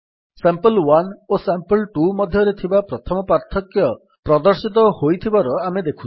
ସାମ୍ପଲ୍1 ଓ ସାମ୍ପଲ୍2 ମଧ୍ୟରେ ଥିବା ପ୍ରଥମ ପାର୍ଥକ୍ୟ ପ୍ରଦର୍ଶିତ ହୋଇଥିବାର ଆମେ ଦେଖୁଛେ